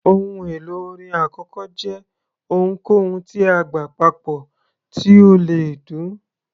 Ohun èlò orin àkọ́kọ́ jẹ́ ohunkóhun tí a gbá papọ̀ tí ó le dún.